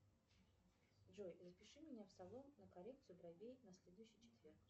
джой запиши меня в салон на коррекцию бровей на следующий четверг